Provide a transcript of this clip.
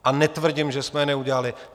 A netvrdím, že jsme je neudělali.